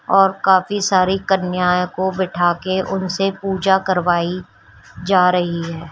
और काफी सारी कन्याओं को बिठाके उनसे पूजा करवाई जा रही है।